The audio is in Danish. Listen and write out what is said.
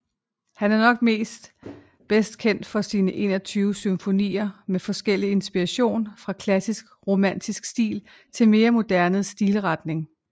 Han er nok bedst kendt for sine 21 symfonier med forskellig inspiration fra klassisk romantisk stil til mere moderne stilretning